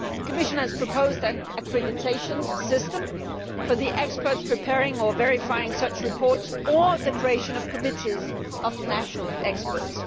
The Commission has proposed an accreditation system for the experts preparing or verifying such reports, or the creation of committees of national experts.